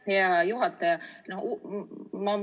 Aitäh, hea juhataja!